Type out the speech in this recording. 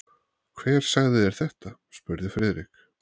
Hver sagði þér þetta? spurði Friðrik.